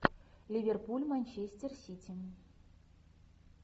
ливерпуль манчестер сити